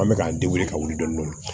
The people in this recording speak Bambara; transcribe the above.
An bɛ k'an de wuli ka wuli dɔni dɔni